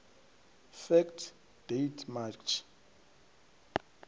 fact date march